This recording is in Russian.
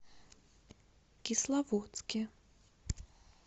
кисловодске